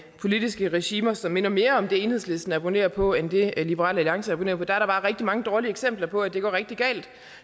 politiske regimer som minder mere om det enhedslisten abonnerer på end det liberal alliance abonnerer på er der bare rigtig mange dårlige eksempler på at det går rigtig galt